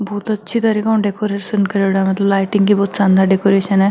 बहुत अच्छी तरीका से डेकोरेशन करेड़ा है मतलब लाइटिंग की बहुत शानदार डेकोरेशन है।